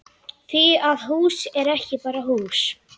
Því að hús er ekki bara hús.